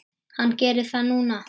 Hann gerir það núna.